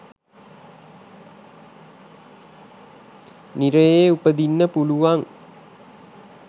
නිරයේ උපදින්න පුළුවන්.